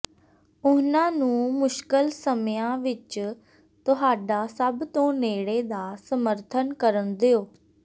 ਉਨ੍ਹਾਂ ਨੂੰ ਮੁਸ਼ਕਲ ਸਮਿਆਂ ਵਿੱਚ ਤੁਹਾਡਾ ਸਭ ਤੋਂ ਨੇੜੇ ਦਾ ਸਮਰਥਨ ਕਰਨ ਦਿਓ